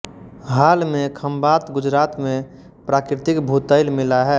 हाल में खंबात गुजरात में प्राकृतिक भूतैल मिला है